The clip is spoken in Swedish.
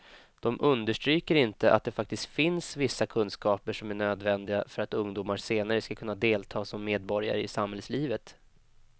De understryker inte att det faktiskt finns vissa kunskaper som är nödvändiga för att ungdomar senare ska kunna delta som medborgare i samhällslivet.